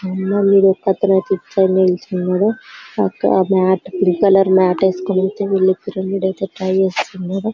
వీడోక్కడే picture లో నిల్చున్నాడు పక్కన మాట పింక్ కలర్ మాట ఏసుకుని ఐతే చేస్తున్నాడు